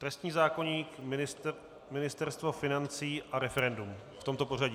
Trestní zákoník, Ministerstvo financí a referendum, v tomto pořadí.